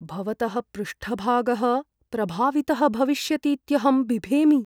भवतः पृष्ठभागः प्रभावितः भविष्यतीत्यहं बिभेमि।